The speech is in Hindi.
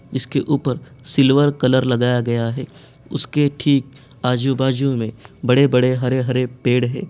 इसके ऊपर सिल्वर कलर लगाया गया है उसके ठिक आजू-बाजु में बड़े-बड़े हरे-हरे पेड़ है।